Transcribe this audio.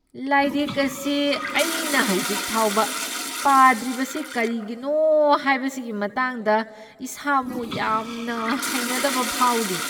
ꯂꯥꯏꯔꯤꯛ ꯑꯁꯤ ꯑꯩꯅ ꯍꯧꯖꯤꯛ ꯐꯥꯎꯕ ꯄꯥꯗ꯭ꯔꯤꯕꯁꯤ ꯀꯔꯤꯒꯤꯅꯣ ꯍꯥꯏꯕꯁꯤꯒꯤ ꯃꯇꯥꯡꯗ ꯏꯁꯥꯕꯨ ꯌꯥꯝꯅ ꯍꯩꯅꯗꯕ ꯐꯥꯎꯔꯤ꯫